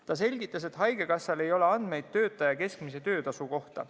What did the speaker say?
Ta selgitas, et haigekassal ei ole andmeid töötaja keskmise töötasu kohta.